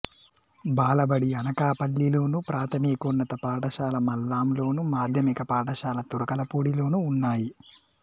బాలబడి అనకాపల్లిలోను ప్రాథమికోన్నత పాఠశాల మల్లాంలోను మాధ్యమిక పాఠశాల తురకలపూడిలోనూ ఉన్నాయి